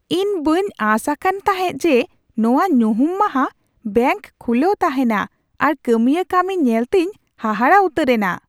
ᱤᱧ ᱵᱟᱹᱧ ᱟᱥ ᱟᱠᱟᱱ ᱛᱟᱦᱮᱸ ᱡᱮ ᱱᱚᱶᱟ ᱧᱩᱦᱩᱢ ᱢᱟᱦᱟ ᱵᱮᱝᱠ ᱠᱷᱩᱞᱟᱹᱣ ᱛᱟᱦᱮᱱᱟ ᱟᱨ ᱠᱟᱹᱢᱤᱭᱟᱹ ᱠᱟᱹᱢᱤ ᱧᱮᱞ ᱛᱤᱧ ᱦᱟᱦᱟᱲᱟᱜ ᱩᱛᱟᱹᱨ ᱮᱱᱟ ᱾